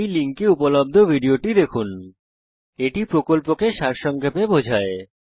এই লিঙ্কে উপলব্ধ ভিডিওটি দেখুন httpspokentutorialorgWhat is a Spoken Tutorial এটি কথ্য টিউটোরিয়াল প্রকল্পকে সারসংক্ষেপে বোঝায়